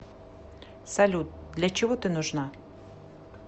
салют для чего ты нужна